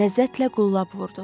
Ləzzətlə qullab vurdu.